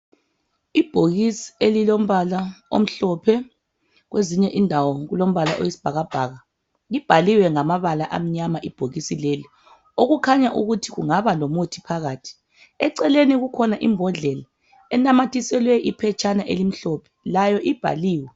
Ibhokisi elilombala omhlophe kwezinye indawo kulombala oyisibhakabhaka libhaliwe ngamabala amnyama ibhokisi leli okukhanya ukuthi kungaba lomuthi phakathi eceleni kukhona imbodlela enamathiselwe iphetshana elimhlophe layo ibhaliwe.